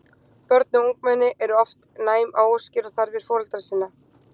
Börn og ungmenni eru oft næm á óskir og þarfir foreldra sinna.